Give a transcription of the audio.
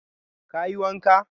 Ka yi wanka?